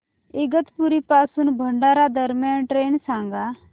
इगतपुरी पासून भंडारा दरम्यान ट्रेन सांगा